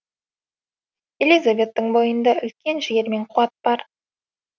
элизабеттің бойында үлкен жігер мен қуат бар